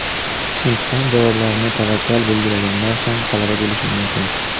Imtihon javoblarini tavakkal belgilaganlar ham talaba bo‘lishi mumkin.